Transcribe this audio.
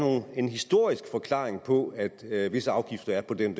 en historisk forklaring på at visse afgifter er på den